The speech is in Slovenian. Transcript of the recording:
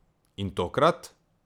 In tokrat?